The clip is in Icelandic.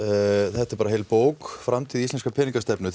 þetta er bara heil bók framtíð íslenskrar peningastefnu